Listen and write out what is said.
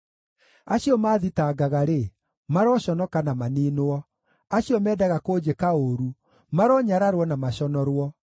Acio maathitangaga-rĩ, maroconoka na maniinwo; acio mendaga kũnjĩka ũũru, maronyararwo na maconorwo.